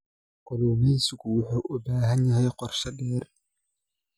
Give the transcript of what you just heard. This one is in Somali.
Kalluumeysigu wuxuu u baahan yahay qorshe-dheer.